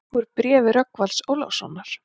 Úr bréfi Rögnvalds Ólafssonar